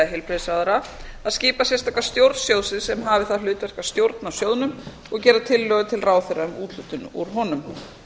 heilbrigðisráðherra að skipa sérstaka stjórn sjóðsins sem hafi það hlutverk að stjórna sjóðnum og gera tillögur til ráðherra um úthlutun úr honum